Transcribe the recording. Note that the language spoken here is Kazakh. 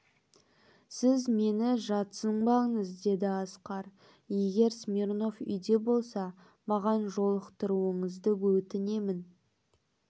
сіз мені жатсынбаңыз деді асқар егер смирнов үйде болса маған жолықтыруыңызды өтінемін